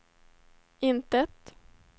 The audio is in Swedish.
intet